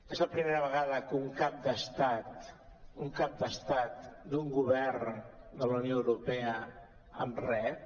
és la primera vegada que un cap d’estat un cap d’estat d’un govern de la unió europea em rep